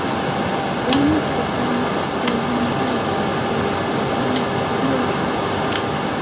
Kwonyik chechang cheimikei missing akobo kiotok.